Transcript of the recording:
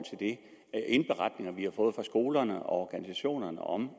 indberetninger vi har fået fra skolerne og organisationerne om